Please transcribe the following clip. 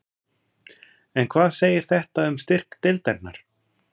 En hvað segir þetta um styrk deildarinnar?